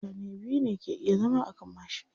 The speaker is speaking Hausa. Mutane biyu ne ke iya zama akan mashi.